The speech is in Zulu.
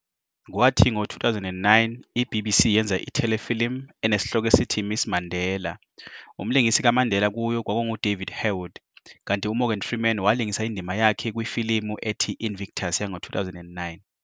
Kwathi ngo 2009 i-BBC yenza i-telefilm "Mrs Mandela", umlingisi kaMandela kuyo kwakungu-David Harewood, kanti u-Morgan Freeman walingisa indima yakhe kwifilimu ethi-"Invictus" yango-2009.